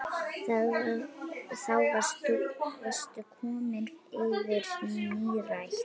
Þá varstu komin yfir nírætt.